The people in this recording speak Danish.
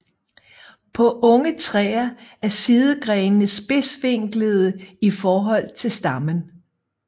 På unge træer er sidegrenene spidsvinklede i forhold til stammen